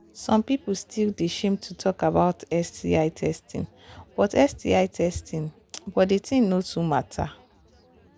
some people still they shame to talk about sti testing but testing but the thing no too matter